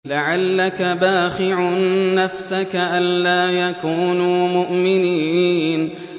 لَعَلَّكَ بَاخِعٌ نَّفْسَكَ أَلَّا يَكُونُوا مُؤْمِنِينَ